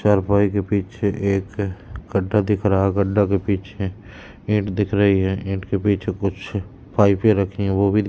चारपाई के पीछे एक गड्ढा दिख रहा है गड्ढा के पीछे ईंट दिख रही है ईंट के पीछे कुछ पाईपे रखी हैं वो भी--